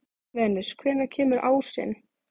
Venus, hvenær kemur ásinn?